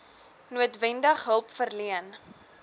noodwendig hulp verleen